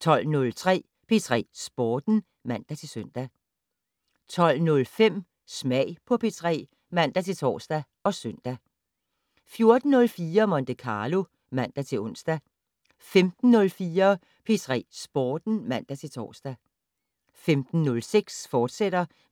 12:03: P3 Sporten (man-søn) 12:05: Smag på P3 (man-tor og søn) 14:04: Monte Carlo (man-ons) 15:04: P3 Sporten (man-tor) 15:06: